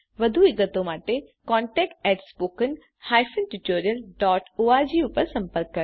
વધુ વિગતો માટે contactspoken tutorialorg પર સંપર્ક કરો